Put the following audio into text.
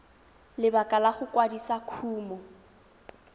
lebaka la go kwadisa kumo